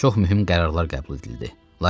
Çox mühüm qərarlar qəbul edildi.